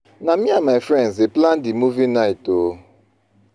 Na me and my friends dey plan di movie night o.